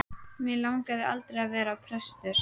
Mig langaði aldrei til að vera prestur.